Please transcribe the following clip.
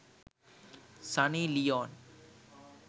sunny leon